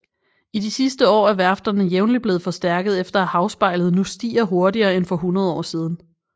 I de sidste år er værfterne jævnligt blevet forstærket efter at havspejlet nu stiger hurtigere end for hundrede år siden